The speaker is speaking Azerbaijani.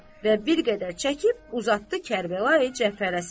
Və bir qədər çəkib uzatdı Kərbəlayı Cəfərə səmt.